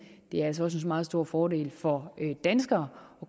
det er altså også en meget stor fordel for danskere